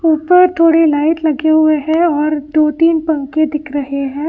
ऊपर थोड़ी लाइट लगे हुए हैं और दो तीन पंखे दिख रहे हैं।